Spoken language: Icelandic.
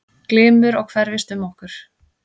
Glymur og hverfist um okkur.